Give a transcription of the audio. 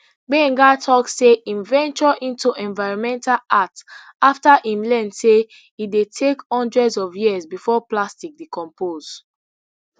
gbenga tok say im venture into environmental art afta im learn say e dey take hundreds of years bifor plastic decompose